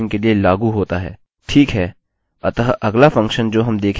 ठीक है अतः अगला फंक्शन जो हम देखेंगे वह है explode